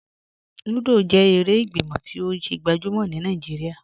Lúdọ́ jẹ èrè ìgbímọ̀ tí o gbajúmọ̀ ní Naijíríà.